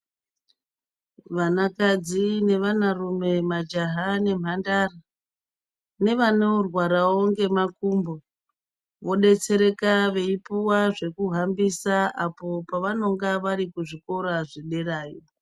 Vanakadzi nevanarume majaha nemhandara ngevanorwarawo ngemakumbo vobetsereka bveipuwa zvekuhambisa apo pavanonga vari kuzvikora zviderayi